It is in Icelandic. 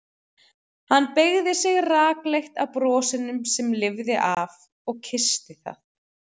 Hann beygði sig rakleitt að brosinu sem lifði af og kyssti það.